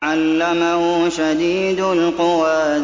عَلَّمَهُ شَدِيدُ الْقُوَىٰ